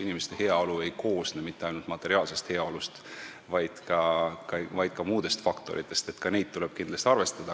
Inimeste heaolu ei koosne mitte ainult materiaalsest heaolust, vaid ka muudest faktoritest, mida tuleb kindlasti ka arvestada.